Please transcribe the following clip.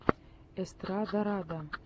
эстрадарада